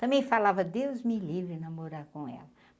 Também falava Deus me livre namorar com ela.